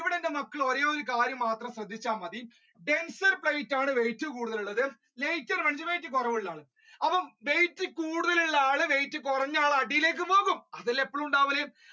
ഇവിടെ എന്റെ മക്കൾ ഒരേ ഒരു കാര്യം ശ്രദ്ധിച്ചാൽ മതി denser plate ആണ് weight കൂടുതൽ ഉള്ളത് കുറവ് ഉള്ള അപ്പൊ weight കൂടുതൽ ഉള്ള ആൾ weight കുറഞ്ഞ ആൾ അടിയിലേക്ക് പോവും അതല്ലേ എപ്പഴും ഉണ്ടാവുന്നത്